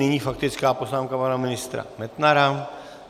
Nyní faktická poznámka pana ministra Metnara.